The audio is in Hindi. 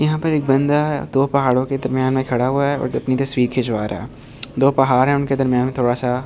यहाँ पर एक बंदा दो पहाड़ों के दरमियान खड़ा हुआ है और अपनी तस्वीर खिंचवा रहा है दो पहाड़ हैं उनके दरमियान थोड़ा सा फस--